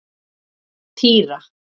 Týra